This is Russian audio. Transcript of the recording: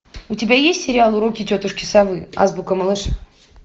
у тебя есть сериал уроки тетушки совы азбука малыша